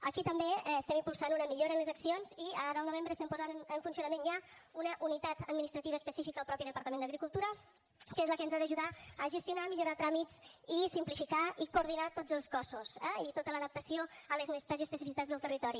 aquí també estem impulsant una millora en les accions i ara al novembre estem posant en funcionament ja una unitat administrativa específica al mateix departament d’agricultura que és la que ens ha d’ajudar a gestionar millorar tràmits i simplificar i coordinar tots els cossos eh i tota l’adaptació a les necessitats i especificitats del territori